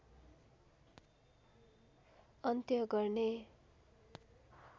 अन्त्य गर्ने